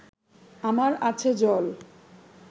আমার আছে জল